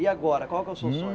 E agora, qual que é o seu sonho?